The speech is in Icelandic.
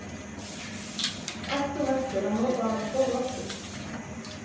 Ætti hún eftir að nota þennan kjól aftur?